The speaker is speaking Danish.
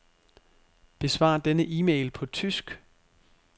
Besvar denne e-mail på tysk.